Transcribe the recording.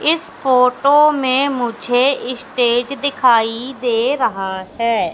इस फोटो में मुझे स्टेज दिखाई दे रहा हैं।